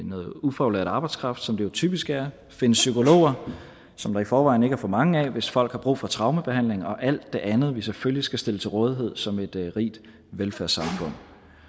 noget ufaglært arbejdskraft som det jo typisk er finde psykologer som der i forvejen ikke er for mange af hvis folk har brug for traumebehandling og alt det andet vi selvfølgelig skal stille til rådighed som et rigt velfærdssamfund